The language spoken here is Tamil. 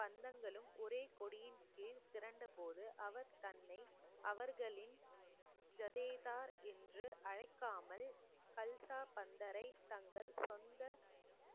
பந்தங்களும் ஒரே கொடியின் கீழ் திரண்ட போது அவர் தன்னை அவர்களின் ஜதேதா என்று அழைக்காமல் கல்சா பந்தரை தங்கள் சொந்த